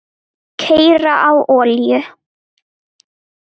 Keyra á olíu?